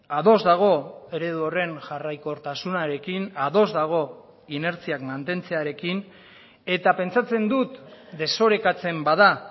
ados dago eredu horren jarraikortasunarekin ados dago inertziak mantentzearekin eta pentsatzen dut desorekatzen bada